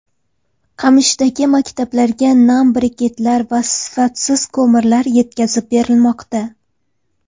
Qamashidagi maktablarga nam briketlar va sifatsiz ko‘mirlar yetkazib berilmoqda.